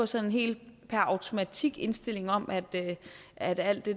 sådan helt per automatik indstilling om at at alt det